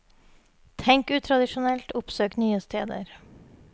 Tenk utradisjonelt, oppsøk nye steder.